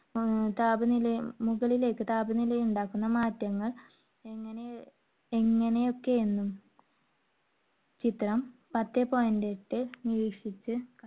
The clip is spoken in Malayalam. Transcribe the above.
ഏർ ~ മുകളിലേക്ക് താപനിലയിൽ ഉണ്ടാകുന്ന മാറ്റങ്ങൾ എങ്ങനെ~ എങ്ങനെയൊക്കെ എന്നും ചിത്രം പത്തേ point എട്ട് നിരീക്ഷിച്ച്